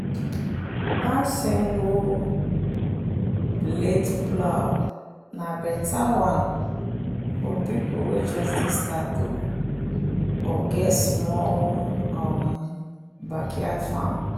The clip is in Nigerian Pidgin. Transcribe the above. that single-blade plow na better one for people wey just dey start or get small um backyard farm.